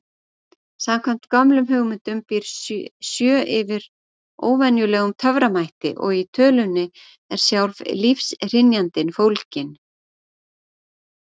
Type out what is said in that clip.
Samkvæmt gömlum hugmyndum býr sjö yfir óvenjulegum töframætti og í tölunni er sjálf lífshrynjandin fólgin.